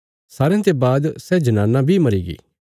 सारयां ते बाद सै जनाना बी मरीगी